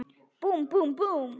Búmm, búmm, búmm.